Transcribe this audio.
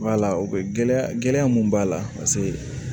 o gɛlɛya gɛlɛya mun b'a la paseke